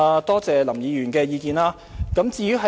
多謝林議員的意見。